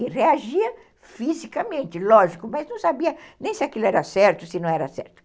E reagia fisicamente, lógico, mas não sabia nem se aquilo era certo, se não era certo.